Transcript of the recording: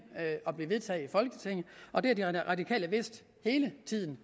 og blive vedtaget i folketinget og det har de radikale vidst hele tiden